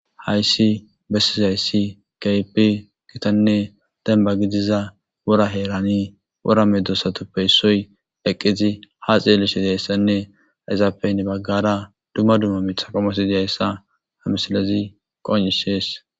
Hayssi bessizayssi kaypi kitanne denba gidiza wora heerani wora medosatoppeyssoy dheqqizi ha xeeleshedayssenne yzaafeynne baggara dumma dumma mitha kamosi diyayssa hamsalezi qon'isees.